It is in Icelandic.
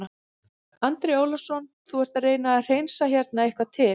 Andri Ólafsson: Þú ert að reyna að hreinsa hérna eitthvað til?